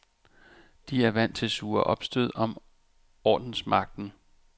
De er vant til sure opstød om ordensmagten.